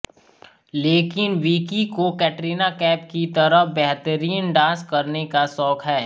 लेकिन विकी को कटरीना कैफ की तरह बेहतरीन डांस करने का शौक है